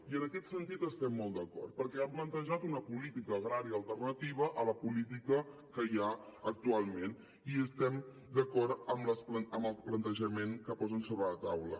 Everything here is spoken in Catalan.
i en aquest sentit estem molt d’acord perquè han plantejat una política agrària alternativa a la política que hi ha actualment i estem d’acord amb el plantejament que posen sobre la taula